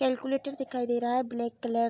calculator दिखाई दे रहा है ब्लैक कलर --